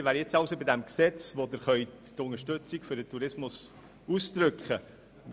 Wir sind jetzt also bei dem Gesetz, bei welchem Sie Ihre Unterstützung für den Tourismus ausdrücken können.